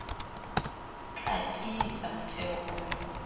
tla tiisa motheo ono o